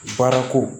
Baara ko